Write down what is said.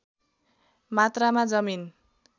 मात्रामा जमिन